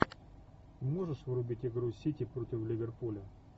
можешь врубить игру сити против ливерпуля